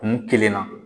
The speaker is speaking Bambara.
Kun kelen na